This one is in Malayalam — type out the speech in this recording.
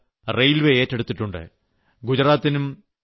ഈ യജ്ഞത്തിന്റെ ചുമതല റെയിൽവേ ഏറ്റെടുത്തിട്ടുണ്ട്